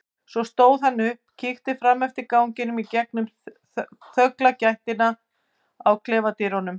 Svo stóð hann upp og kíkti fram eftir ganginum í gegnum þrönga gættina á klefadyrunum.